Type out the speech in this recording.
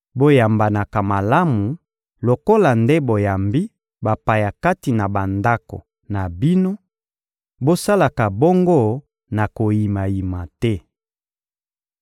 Boyambanaka malamu lokola nde boyambi bapaya kati na bandako na bino, bosalaka bongo na koyimayima te.